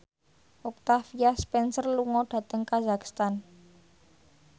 Octavia Spencer lunga dhateng kazakhstan